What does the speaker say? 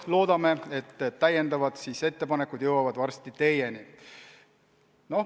Loodame, et täiendavad ettepanekud jõuavad varsti teieni.